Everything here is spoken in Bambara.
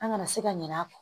An kana se ka ɲinɛ a kɔ